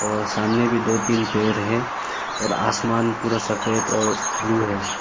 और सामने भी दो तीन पेड़ है और आसमान पूरा सफेद और ब्लू है।